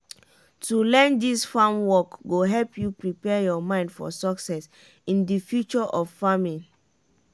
to learn dis farm work go help you prepare your mind for success in di future of farming.